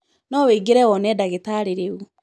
No wĩingĩre wone ndagitarĩ rĩu.